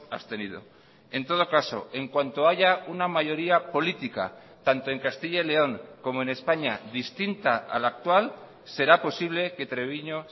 abstenido en todo caso en cuanto haya una mayoría política tanto en castilla y león como en españa distinta a la actual será posible que treviño